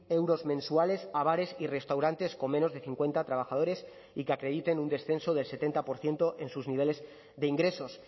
euros mensuales a bares y restaurantes con menos de cincuenta trabajadores y que acrediten un descenso del setenta por ciento en sus niveles de ingresos